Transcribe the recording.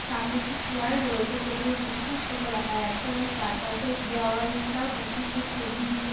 সামনে একটি চেয়ার রয়েছে। পেছনে যিশুখ্রিষ্ট কে দেখা যাচ্ছে এবং চারপাশের দেওয়ালটাও যিশুখ্রিষ্টের ছবি দিয়ে --